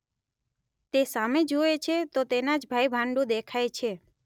તે સામે જુએ છે તો તેના જ ભાઈભાંડુ દેખાય છે